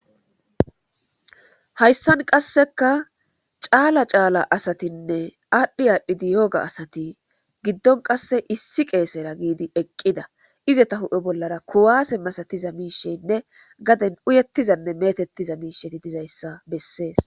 hayssan qasseka caala caala asatinne aadhdhi aadhdhidi yoga asati giddon qasse issi qeesera giidi eqqida izeta hu7e bollara kuwaase masatiza miishenne gaden uyettizanne metettiza miisheti dizayssa bessees